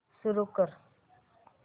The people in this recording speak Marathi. सुरू कर